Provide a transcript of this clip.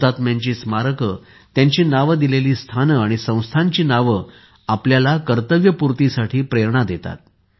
हुतात्म्यांची स्मारके त्यांची नावे दिलेली स्थाने आणि संस्थांची नावे आपल्याला कर्तव्यपूर्तीसाठी प्रेरणा देतात